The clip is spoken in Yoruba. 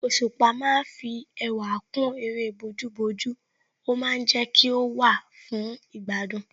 Òṣùpá ma ń fi ẹwà kún eré bójú bójú ó ma ń jẹ́ kí ó wà fún ìgbádùn